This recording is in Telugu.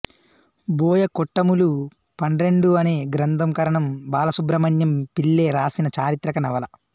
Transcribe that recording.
బోయకొట్టములు పండ్రెండు అనే గ్రంథం కరణం బాలసుబ్రహ్మణ్యం పిళ్ళె వ్రాసిన చారిత్రిక నవల